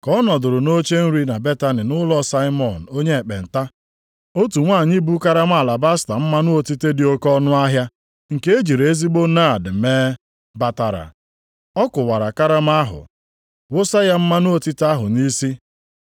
Ka ọ nọdụrụ nʼoche nri na Betani nʼụlọ Saimọn onye ekpenta, otu nwanyị bu karama alabasta mmanụ otite dị oke ọnụahịa, nke e jiri ezigbo naad mee, batara. Ọ kụwara karama ahụ, wụsa ya mmanụ otite ahụ nʼisi.